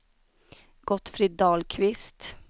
Gottfrid Dahlqvist